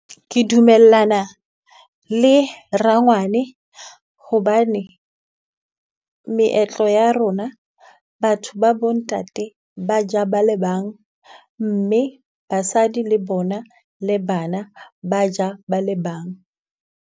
Ke dumellana le rangwane hobane, meetlo ya rona batho ba bo ntate ba ja ba le bang, mme basadi le bona le bana ba ja ba le bang.